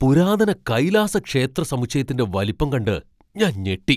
പുരാതന കൈലാസ ക്ഷേത്ര സമുച്ചയത്തിന്റെ വലിപ്പം കണ്ട് ഞാൻ ഞെട്ടി.